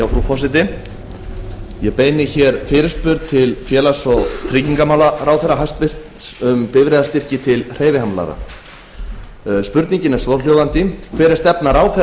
forseti ég beini hér fyrirspurn til félags og tryggingamálaráðherra hæstvirtur um bifreiðastyrki til hreyfihamlaðra spurningin er svohljóðandi hver er stefna ráðherra